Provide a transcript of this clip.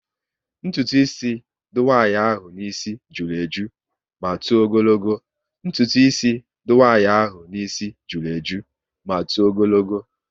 Ntụtụ ísì dị nwanyị ahụ n'isi jụrụ eju ma tọọ ogologo